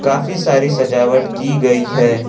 काफी सारी सजावट की गई है।